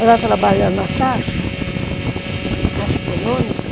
Ela trabalha na Caixa, Caixa Econômica.